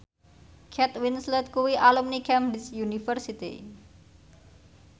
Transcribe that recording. Kate Winslet kuwi alumni Cambridge University